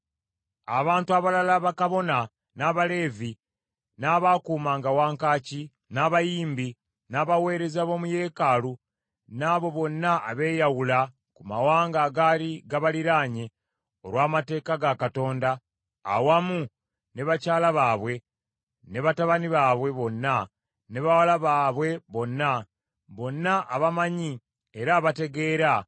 “Abantu abalala bakabona, n’Abaleevi, n’abaakuumanga wankaaki, n’abayimbi, n’abaweereza b’omu yeekaalu, n’abo bonna abeeyawula ku mawanga agaali gabaliraanye olw’Amateeka ga Katonda, awamu ne bakyala baabwe, ne batabani baabwe bonna ne bawala baabwe bonna; bonna abamanyi era abategeera